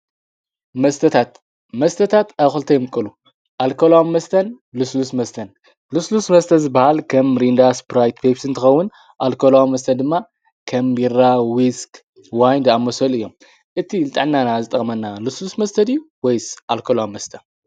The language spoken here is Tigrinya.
መስተታት መስተታት ኣብ ክልተ የምቅሉ ኣልኮልዋም መስተን ልሱሉስ መስተን ልሱሉስ መስተ ዝበሃል ከም ሚሪንዳን ፔስፕን ተኸውን ኣልኮልዋም መስተ ድኣዂልተ ቢራ ዊስክ ዋይንድ ኣመሰል እዮም እቲ ልጣናና ዝጠመና ልሱሉስ መስተድዩ ወይስ ኣልኮልዋ መስተ